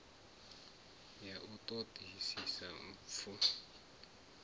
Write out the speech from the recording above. ya u ṱo ḓisisa mpfu